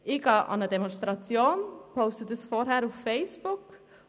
Ich gehe an eine Demonstration und poste das vorher auf Facebook.